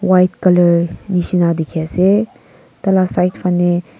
white colour nishina dikhi asey taila side phaneh--